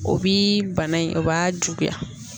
O bi bana in o b'a juguya